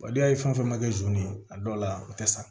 n'i y'a ye fɛn fɛn kɛ zon ye a dɔw la o tɛ sa